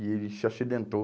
E ele se acidentou.